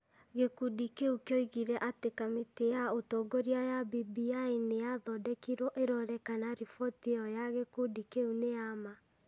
gĩkundi kĩu kĩoigire atĩ kamĩtĩ ya ũtongoria ya BBI nĩ yathondekirwo ĩrore kana riboti ĩyo ya gĩkundi kĩu nĩ ya ma.